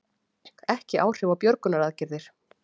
Ekki áhrif á björgunaraðgerðir